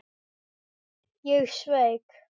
Ég sveik.